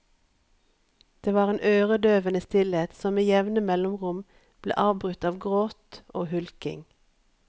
Det var en øredøvende stillhet som med jevne mellomrom ble avbrutt av gråt og hulking.